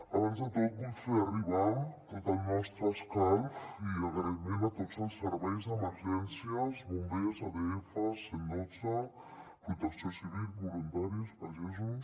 abans de tot vull fer arribar tot el nostre escalf i agraïment a tots els serveis d’emergències bombers adf cent i dotze protecció civil voluntaris pagesos